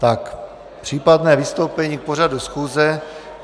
Tak případné vystoupení k pořadu schůze.